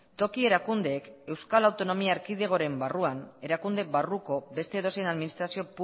toki erakundeek euskal autonomia erkidegoaren barruan erakunde barruko beste edozein administrazio